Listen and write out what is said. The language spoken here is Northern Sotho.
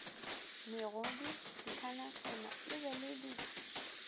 megodu dikhanakhana di be di